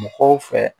Mɔgɔw fɛ